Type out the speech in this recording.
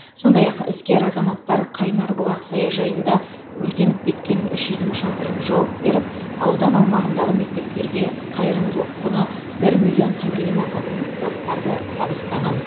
сондай ақ іскер азаматтар қайнарбұлақ саяжайында өртеніп кеткен үш үйдің шатырын жауып беріп аудан аумағындағы мектептерге қайырымдылық құны бір миллион теңгеден асатын заттарды табыстаған